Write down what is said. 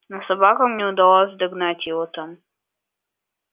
но собакам не удавалось догнать его там